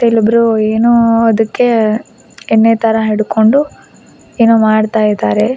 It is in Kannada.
ಇಲ್ಲೊಬ್ಬರು ಏನೋ ಅದಕ್ಕೆ ಎಣ್ಣೆ ತರ ಹಿಡ್ಕೊಂಡು ಏನೋ ಮಾಡ್ತಾ ಇದ್ದಾರೆ.